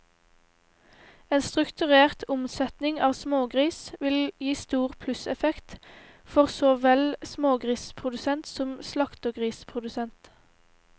En strukturert omsetning av smågris vil gi stor plusseffekt for så vel smågrisprodusent som slaktegrisprodusent.